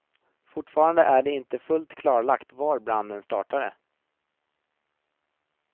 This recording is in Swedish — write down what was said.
Fortfarande är det inte fullt klarlagt var branden startat.